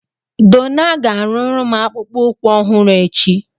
Donna ga-arụrụ m akpụkpọ ụkwụ ọhụrụ echi